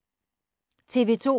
TV 2